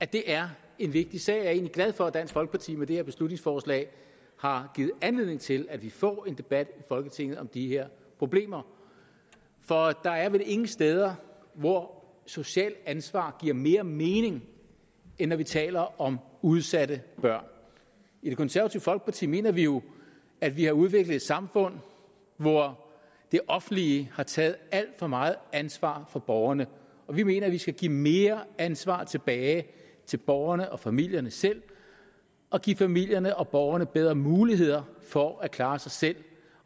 det er en vigtig sag jeg er egentlig glad for at dansk folkeparti med det her beslutningsforslag har givet anledning til at vi får en debat i folketinget om de her problemer for der er vel ingen steder hvor socialt ansvar giver mere mening end når vi taler om udsatte børn i det konservative folkeparti mener vi jo at vi har udviklet et samfund hvor det offentlige har taget alt for meget ansvar fra borgerne og vi mener at vi skal give mere ansvar tilbage til borgerne og familierne selv og give familierne og borgerne bedre muligheder for at klare sig selv